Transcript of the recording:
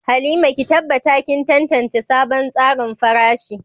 Halima, ki tabbata kin tantance sabon tsarin farashi.